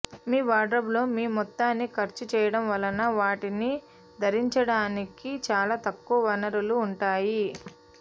మీ వార్డ్రోబ్లో మీ మొత్తాన్ని ఖర్చు చేయడం వలన వాటిని ధరించడానికి చాలా తక్కువ వనరులు ఉంటాయి